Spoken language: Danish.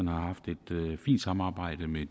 har haft et fint samarbejde med